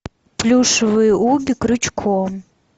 плюшевые угги крючком